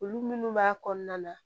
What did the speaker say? Olu minnu b'a kɔnɔna na